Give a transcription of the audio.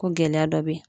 Ko gɛlɛya dɔ bɛ yen